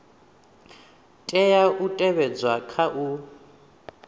tea u tevhedzwa kha u